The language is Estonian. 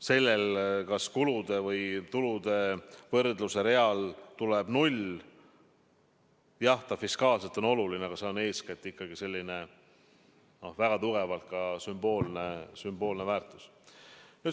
See, kas kulude või tulude võrdluse reale tuleb null – jah, fiskaalselt on see oluline, aga sellel on eeskätt ikkagi väga tugevalt sümboolne väärtus.